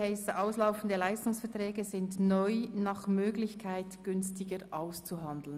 «Auslaufende Leistungsverträge sind neu nach Möglichkeit günstiger auszuhandeln.